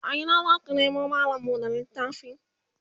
a Ina zaka kamo mallam buɗe littafi?